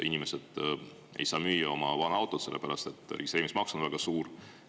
Inimesed ei saa müüa oma vana autot, sellepärast et registreerimismaks on väga suur.